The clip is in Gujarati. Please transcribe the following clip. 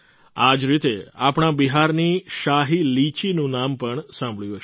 આ જ રીતે આપણા બિહારની શાહી લીચીનું નામ પણ સાંભળ્યું હશે